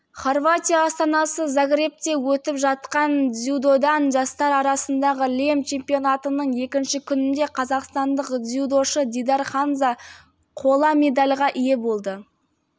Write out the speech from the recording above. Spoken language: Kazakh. хорватия астанасы загребте өтіп жатқан дзюдодан жастар арасындағы лем чемпионатының екінші күнінде қазақстандық дзюдошы дидар хамза қола медальға ие болды